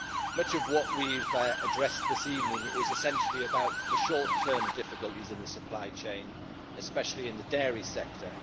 Much of what we have addressed this evening is essentially about the short-term difficulties in the supply chain, especially in the dairy sector.